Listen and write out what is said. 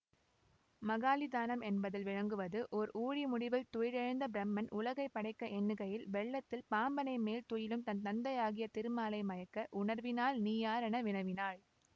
மகாலிதானம் என்பதில் விளங்குவது ஓர் ஊழிமுடிவில் துயிலெழுந்த பிரமன் உலகைப் படைக்க எண்ணுகையில் வெள்ளத்தில் பாம்பணைமேல் துயிலும் தன் தந்தையாகிய திருமாலை மயக்க உணர்வினால் நீயாரென வினவினான்